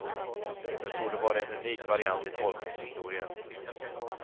Det torde vara en unik variant i tolkningshistorien.